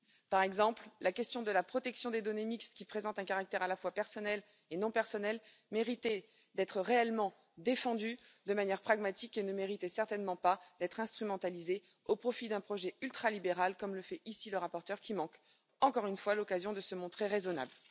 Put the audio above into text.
Par exemple, la question de la protection des données mixtes, qui présentent un caractère à la fois personnel et non personnel, méritait d'être réellement défendue de manière pragmatique et ne méritait certainement pas d'être instrumentalisée au profit d'un projet ultralibéral, comme le fait ici le rapporteur qui manque, encore une fois, l'occasion de se montrer raisonnable.